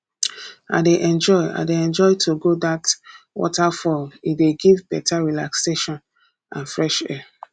i dey enjoy i dey enjoy to go dat waterfall e dey give better relaxation and fresh air